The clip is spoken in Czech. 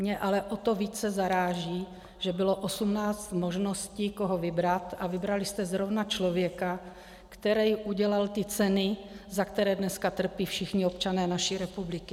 Mě ale o to více zaráží, že bylo 18 možností, koho vybrat, a vybrali jste zrovna člověka, který udělal ty ceny, za které dneska trpí všichni občané naší republiky.